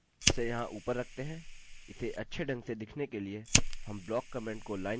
इसे अच्छे ढंग से दिखने के लिए हम block ब्लाक कमेन्ट को लाइन कमेंट से बदलते हैं